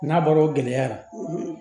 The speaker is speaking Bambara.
N'a bɔra gɛlɛya la